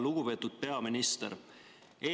Lugupeetud peaminister!